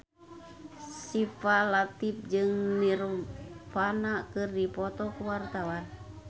Syifa Latief jeung Nirvana keur dipoto ku wartawan